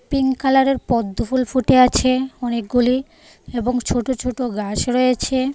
Pink কালারের পদ্মফুল ফুটে আছে অনেকগুলি এবং ছোট ছোট গাছ রয়েছে।